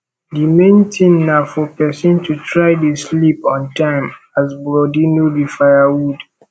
the main thing na for person to try dey sleep on time as body no be firewood